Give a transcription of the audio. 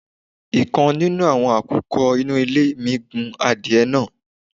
ikán nínù awọ́n àkùkọ inú ilé mi gun àdiẹ naá